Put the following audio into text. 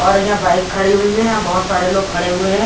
और यहां बाइक खड़ी हुई है यहां बहोत सारे लोग खड़े हुए है।